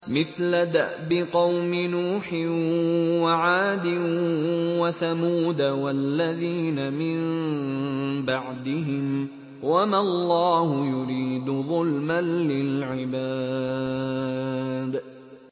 مِثْلَ دَأْبِ قَوْمِ نُوحٍ وَعَادٍ وَثَمُودَ وَالَّذِينَ مِن بَعْدِهِمْ ۚ وَمَا اللَّهُ يُرِيدُ ظُلْمًا لِّلْعِبَادِ